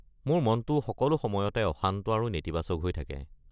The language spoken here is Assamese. মোৰ মনটো সকলো সময়তে অশান্ত আৰু নেতিবাচক হৈ থাকে।